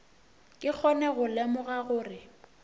ke kgone go lemoga gore